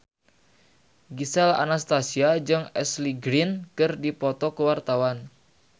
Gisel Anastasia jeung Ashley Greene keur dipoto ku wartawan